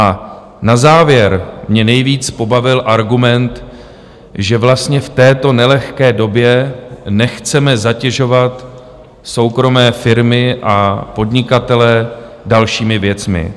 A na závěr mě nejvíc pobavil argument, že vlastně v této nelehké době nechceme zatěžovat soukromé firmy a podnikatele dalšími věcmi.